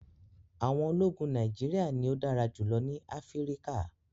àwọn ólogun Nàìjíríà ni o dàrà julọ ni Afirika